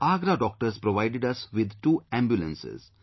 The Agra Doctors provided us with two ambulances